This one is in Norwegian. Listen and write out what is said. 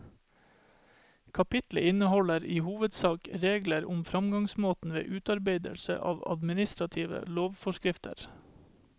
Kapitlet inneholder i hovedsak regler om framgangsmåten ved utarbeidelsen av administrative lovforskrifter.